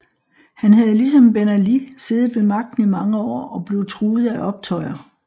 Han havde ligesom Ben Ali siddet ved magten i mange år og blev truet af optøjer